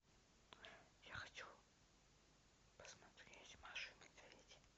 я хочу посмотреть маша и медведь